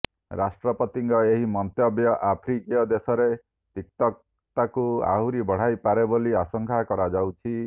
ରାଷ୍ଟ୍ରପତିଙ୍କ ଏହି ମନ୍ତବ୍ୟ ଆଫ୍ରିକୀୟ ଦେଶରେ ତିକ୍ତତାକୁ ଆହୁରି ବଢାଇପାରେ ବୋଲି ଆଶଙ୍କା କରାଯାଉଛି